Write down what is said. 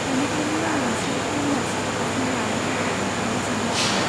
बेनिखायनो आं मोनसे प्रिमियाम साब्सक्रिपशन लानो थाखाय नोंथानाव सोंगासिनो।